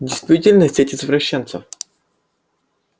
действительно сеть извращенцев